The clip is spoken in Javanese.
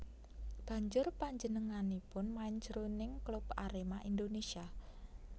Banjur panjenenganipun main jroning klub Arema Indonésia